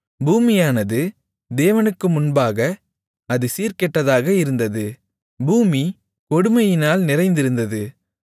பூமியானது தேவனுக்கு முன்பாகச் சீர்கெட்டதாக இருந்தது பூமி கொடுமையினால் நிறைந்திருந்தது